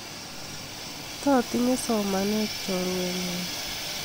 Totinye somanee chorwenyu.